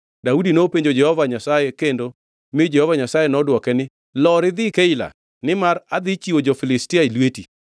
Daudi nopenjo Jehova Nyasaye kendo mi Jehova Nyasaye nodwoke ne, “Lor idhi Keila nimar adhi chiwo jo-Filistia e lweti.”